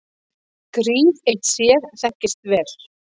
Gríð eitt sér þekkist vel.